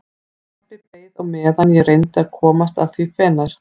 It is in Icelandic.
Pabbi beið á meðan ég reyndi að komast að því hvenær